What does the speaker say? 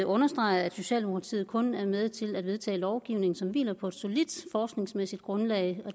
understreger at socialdemokratiet kun er med til at vedtage lovgivning som hviler på et solidt forskningsmæssigt grundlag